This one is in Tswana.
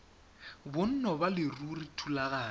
bonno ba leruri thulaganyo